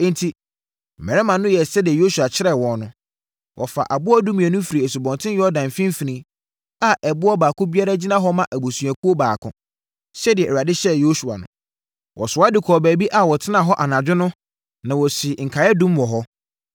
Enti, mmarima no yɛɛ sɛdeɛ Yosua kyerɛɛ wɔn no. Wɔfaa aboɔ dumienu firii Asubɔnten Yordan mfimfini a ɛboɔ baako biara gyina hɔ ma abusuakuo baako, sɛdeɛ Awurade hyɛɛ Yosua no. Wɔsoa de kɔɔ baabi a wɔtenaa hɔ anadwo no na wɔsii nkaeɛdum wɔ hɔ.